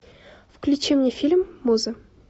включи мне фильм муза